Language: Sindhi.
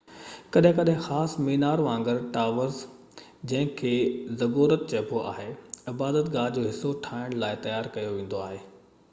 ڪڏهن ڪڏهن خاص مينار وانگر ٽاورز جنهن کي زگورت چئبو آهي عبادت گاه جو حصو ٺاهڻ لاءِ تيار ڪيو ويندو هو